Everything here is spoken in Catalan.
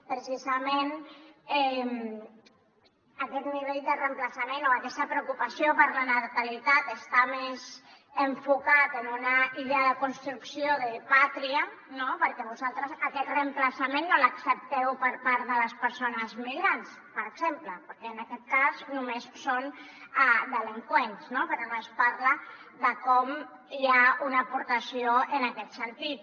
precisament aquest nivell de reemplaçament o aquesta preocupació per la natalitat està més enfocada en una idea de construcció de pàtria no perquè vosaltres aquest reemplaçament no l’accepteu per part de les persones migrants per exemple perquè en aquest cas només són delinqüents però no es parla de com hi ha una aportació en aquest sentit